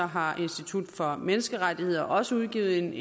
har institut for menneskerettigheder også udgivet en